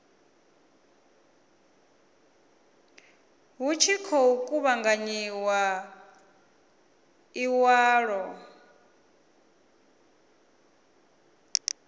hu tshi khou kuvhanganyiwa iwalwa